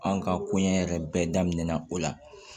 An ka kɔɲɔ yɛrɛ bɛɛ daminɛna o la